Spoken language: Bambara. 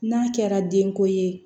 N'a kɛra denko ye